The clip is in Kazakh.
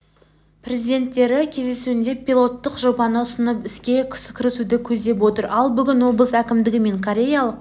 президенттері кездесуінде пилоттық жобаны ұсынып іске кірісуді көздеп отыр ал бүгін облыс әкімдігі мен кореялық